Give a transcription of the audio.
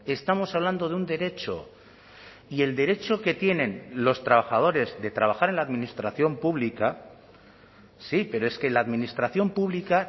estamos hablando de un derecho y el derecho que tienen los trabajadores de trabajar en la administración pública sí pero es que la administración pública